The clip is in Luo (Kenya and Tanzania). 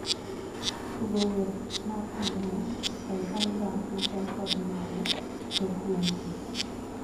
Tugo wer mar ang'wen ei albam machal kod mano tok wendni